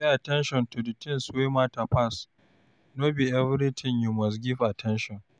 Pay at ten tion to di things wey matter pass, no be everything you must give at ten tion